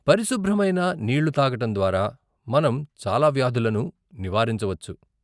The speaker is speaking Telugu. పరిశుభ్రమైన నీళ్లు తాగడం ద్వారా, మనం చాలా వ్యాధులను నివారించవచ్చు.